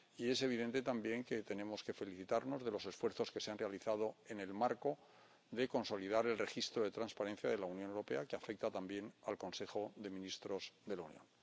Y es evidente también que tenemos que felicitarnos de los esfuerzos que se han realizado en el marco de consolidar el registro de transparencia de la Unión Europea, que afecta también al Consejo de Ministros de la Unión.